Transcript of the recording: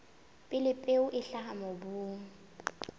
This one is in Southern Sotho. pele peo e hlaha mobung